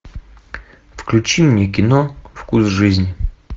включи мне кино вкус жизни